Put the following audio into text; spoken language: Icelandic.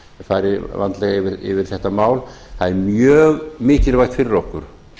fari vandlega yfir þetta mál það er mjög mikilvægt fyrir okkur